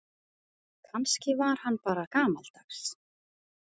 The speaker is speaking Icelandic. Kannski var hann bara gamaldags.